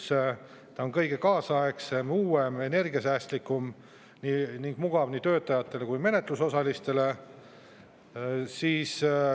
See on kõige kaasaegsem, uuem, energiasäästlikum ning mugav nii töötajatele kui ka menetlusosalistele.